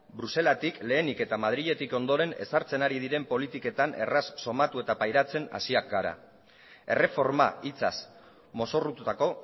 bruselatik lehenik eta madriletik ondoren ezartzen ari diren politiketan erraz sumatu eta pairatzen hasiak gara erreforma hitzaz mozorrotutako